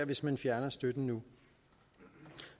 hvis man fjerner støtten nu